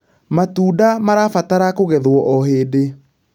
matunda marabatara kũgethwo o hĩndĩ